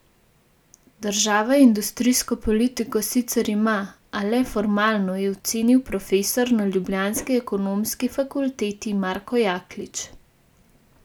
Država industrijsko politiko sicer ima, a le formalno, je ocenil profesor na ljubljanski ekonomski fakulteti, Marko Jaklič.